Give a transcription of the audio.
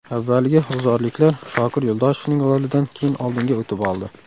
Avvaliga g‘uzorliklar Shokir Yo‘ldoshevning golidan keyin oldinga o‘tib oldi.